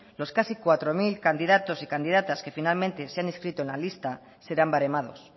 los casi cuatro mil candidatos y candidatas que finalmente se han inscrito en la lista serán baremados